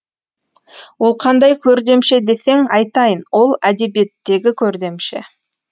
ол қандай көрдемше десең айтайын ол әдебиеттегі көрдемше